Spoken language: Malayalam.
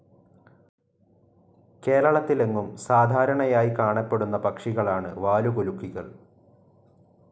കേരളത്തിലെങ്ങും സാധാരണയായി കാണപ്പെടുന്ന പക്ഷികളാണ് വാലുകുലുക്കികൾ.